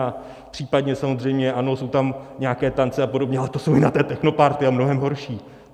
A případně samozřejmě, ano, jsou tam nějaké tance a podobně, ale to jsou i na té technoparty, a mnohem horší.